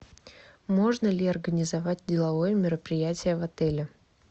можно ли организовать деловое мероприятие в отеле